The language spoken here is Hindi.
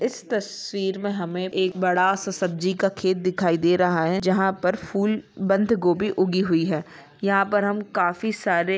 इस तस्वीर में हमें एक बड़ा सा सब्जी का खेत दिखाई दे रहा है जहा पर फुल बांध गोबी उगी हुई है यहा पर हम काफी सारे --